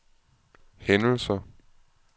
hændelser